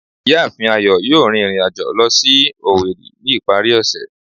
Ìyáàfín Ayo yóò rín irín ajọ̀ lọ si Owerri ni ipari ose.